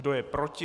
Kdo je proti?